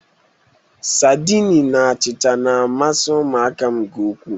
Sadịni na achịcha na̧-amasị ụmụaka m nke ukwu.